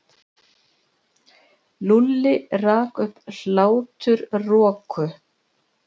Lúlli rak upp hláturroku.